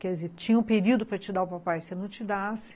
Quer dizer, tinha um período para te dar o papai, se eu não te dasse,